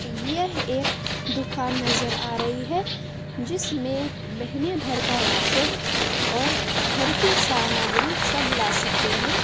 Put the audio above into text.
यह एक दुकान नजर आ रही है जिसमें महीने भर का राशन और घर के सामग्री सब ला सकते है।